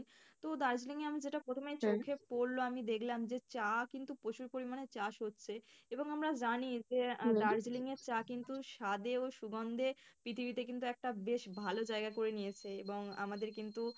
তো দার্জিলিংয়ে আমি যেটা প্রথমে পড়ল আমি দেখলাম যে চা কিন্তু প্রচুর পরিমাণে চাষ হচ্ছে এবং আমরা জানি যে চা কিন্তু স্বাদে ও সুগন্ধে পৃথিবীতে কিন্তু একটা বেশ ভালো জায়গা করে নিয়েছে এবং আমাদের কিন্তু,